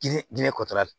Diinɛ ginɛ kɔtara la